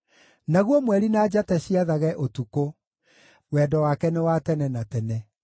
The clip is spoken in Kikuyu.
naguo mweri na njata ciathage ũtukũ; Wendo wake nĩ wa tene na tene.